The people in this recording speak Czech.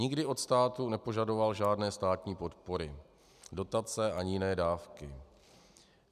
Nikdy od státu nepožadoval žádné státní podpory, dotace ani jiné dávky.